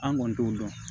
An kɔni t'o dɔn